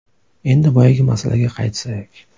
Endi boyagi masalaga qaytsak.